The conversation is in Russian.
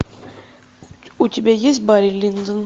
у тебя есть барри линдон